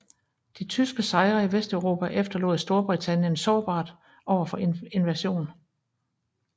De tyske sejre i Vesteuropa efterlod Storbritannien sårbart overfor invasion